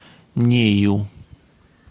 нею